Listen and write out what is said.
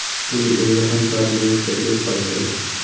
Uning o‘zi ham koronavirusga test topshirdi.